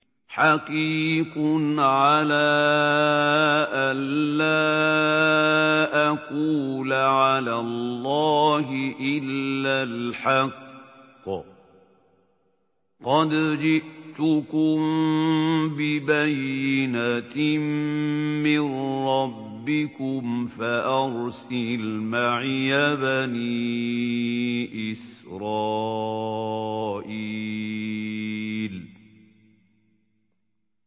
حَقِيقٌ عَلَىٰ أَن لَّا أَقُولَ عَلَى اللَّهِ إِلَّا الْحَقَّ ۚ قَدْ جِئْتُكُم بِبَيِّنَةٍ مِّن رَّبِّكُمْ فَأَرْسِلْ مَعِيَ بَنِي إِسْرَائِيلَ